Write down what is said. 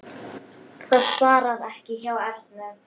Það svarar ekki hjá Ernu.